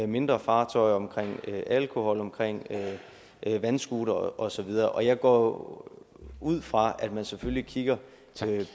mindre fartøjer omkring alkohol omkring vandscootere og så videre og jeg går ud fra at man selvfølgelig kigger